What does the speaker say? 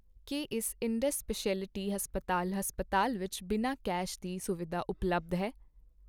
ਕੀ ਇਸ Indus speciality ਹਸਪਤਾਲ ਹਸਪਤਾਲ ਵਿੱਚ ਬਿਨਾਂ ਕੈਸ਼ ਦੀ ਸੁਵਿਧਾ ਉਪਲੱਬਧ ਹੈ?